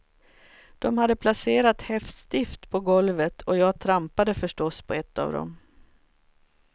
De hade placerat häftstift på golvet och jag trampade förstås på ett av dem.